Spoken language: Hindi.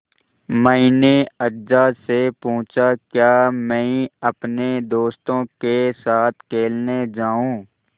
मैंने अज्जा से पूछा क्या मैं अपने दोस्तों के साथ खेलने जाऊँ